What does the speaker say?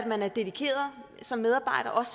man er dedikeret som medarbejder